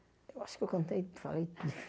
Eu acho que eu contei, falei.